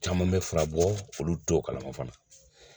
Caman bɛ fura bɔ olu t'o kalama fana.